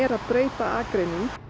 að breyta akreinum